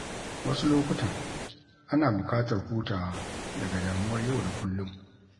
Wasu lokutan, ana bukatar hutawa daga damuwar yau da kullum.